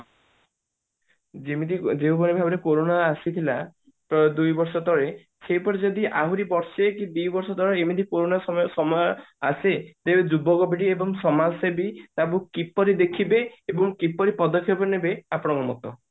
ଯେମିତି ଯେଉଁଭଳି ଭାବରେ କୋରୋନା ଆସିଥିଲା ତ ଦୁଇ ବର୍ଷ ତଳେ ସେହିପରି ଯଦି ଆହୁରି ବର୍ଷେ କି ଦି ବର୍ଷ ଧର ଏମିତି କୋରୋନା ସମୟ ସମୟ ଆସେ ତେବେ ଯୁବକ ପିଢୀ ଏବଂ ସମାଜ ସେବି କୁ କିପରି ଦେଖିବେ ଏବଂ କିପରି ପଦକ୍ଷେପ ନେବେ ଆପଣଙ୍କ ମତ